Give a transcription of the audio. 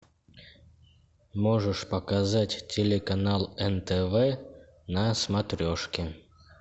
можешь показать телеканал нтв на смотрешке